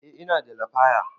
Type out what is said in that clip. Eh ina da lafaya